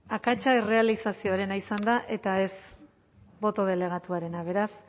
akatsa errealizazioarena izan da eta ez boto delegatuarena beraz